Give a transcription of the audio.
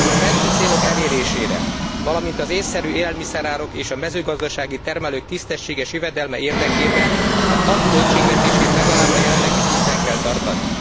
A fenti célok elérésére, valamint az ésszerű élelmiszerárak és a mezőgazdasági termelők tisztességes jövedelme érdekében a KAP költségvetését legalább a jelenlegi szinten kell tartani.